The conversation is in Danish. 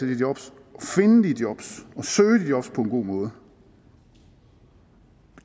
de jobs og søge de jobs på en god måde